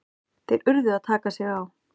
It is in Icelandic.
Þeir urðu að taka sig á!